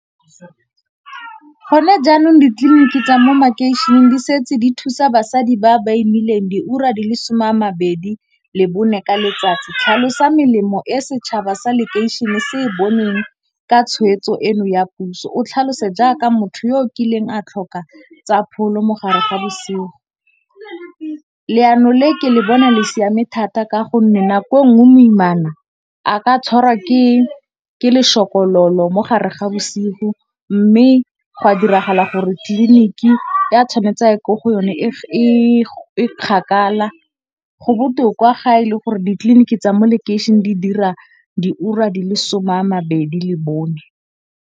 Gone jaanong ditliliniki tsa mo makeišeneng di setse di thusa basadi ba ba imileng diura di le some a mabedi le bone ka letsatsi. Tlhalosa melemo e setšhaba sa lekeišene se e boneng ka tshweetso eno ya puso. O tlhalose jaaka motho yo o kileng a tlhoka tsa pholo mogare ga bosigo. Leano le ke le bona le siame thata ka gonne, nako nngwe moimana a ka tshwarwa ke lešokololo mogare ga bosigo, mme go a diragala gore tliliniki e a tshwanetse a ye ko go yone e kgakala. Go botoka ga e le gore ditliliniki tsa mo lekeišene di dira di ura di le some a mabedi le bone.